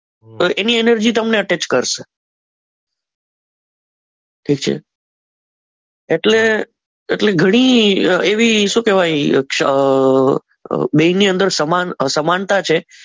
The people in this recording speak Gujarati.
તો એની એનર્જી જે તમને ટચ કરશે ઠીક છે એટલે ઘણી એવી શું કહેવાય બેની અંદર સમાનતર સમાનતા છે.